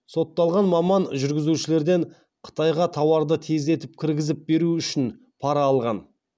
сотталған маман жүргізушілерден қытайға тауарды тездетіп кіргізіп беру үшін пара алған